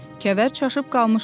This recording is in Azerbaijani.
Kəvər çaşıb qalmışdı.